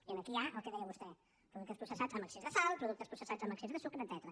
i aquí hi ha el que deia vostè productes processats amb excés de sal productes processats amb excés de sucre etcètera